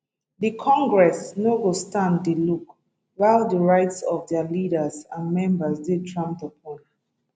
di congress no go stand dey look while di rights of dia leaders and members dey trampled upon